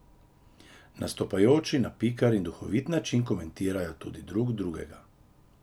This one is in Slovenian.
Nastopajoči na piker in duhovit način komentirajo tudi drug drugega.